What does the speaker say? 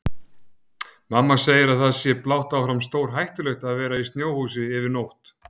Mamma segir að það sé blátt áfram stórhættulegt að vera í snjóhúsi yfir nótt.